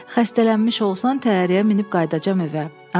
Xəstələnmiş olsan, təyyarəyə minib qayıdacağam evə.